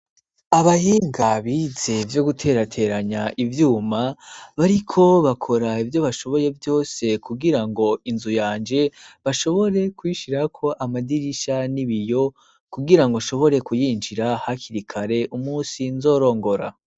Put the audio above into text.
Abahinga bize ivyo guterateranya ivyuma, bariko bakora ivyo bashoboye vyose kugira ngo inzu yanje, bashobore kuyishirako amadirisha n'ibiyo, kugira ngo shobore kuyinjira hakiri kare umunsi nzorongora.